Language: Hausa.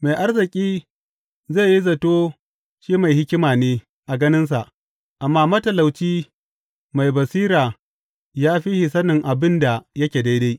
Mai arziki zai yi zato shi mai hikima ne a ganinsa, amma matalauci mai basira ya fi shi sanin abin da yake daidai.